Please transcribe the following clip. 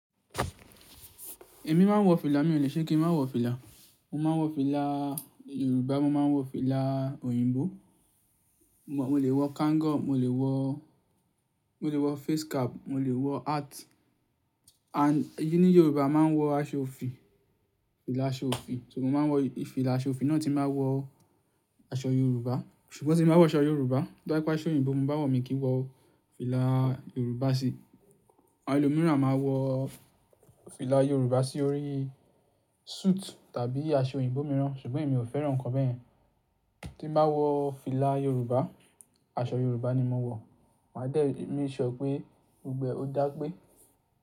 Èmi máa ń wọ fìlà, mí ò le ṣe kí n má wọ fìlà. Mo máa ń wọ fìlà Yorùbá, mo máa ń wọ fìlà òyìnbó. Mo lè wọ kango, mo lè wọ, mo lè wọ face cap, mo lè wọ hat. And nì Yorùbá a máa ń wọ aṣọ òfì, fìlà aṣọ òfì. Ṣùgbọ́n mo máa wọ ìfìlà aṣọ òfì náà tí màá wọ aṣọ Yorùbá. Ṣùgbọ́n tí n ba wọ aṣọ Yorùbá, to ba je pe aṣọ òyìnbó mo bá wọ̀, mi kì í wọ fìlà Yorùbá sí i. Àwọn ẹlòmíràn máa wọ fìlà Yorùbá sí orí suit tàbí aṣọ òyìnbó mìíràn, ṣùgbọ́n èmi ò fẹ́ràn ǹkan bẹ́yen. Tí m ba wọ fìlà Yorùbá, aṣọ Yorùbá ni mo wọ̀. Màá dẹ́, make sure pé gbogbo e, o da pé.